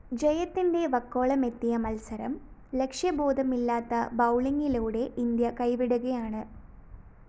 ജയത്തിന്റെ വക്കോളമെത്തിയ മത്സരം ലക്ഷ്യബോധമില്ലാത്ത ബൗളിംഗിലൂടെ ഇന്ത്യ കൈവിടുകയാണ്‌